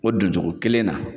O don cogo kelen na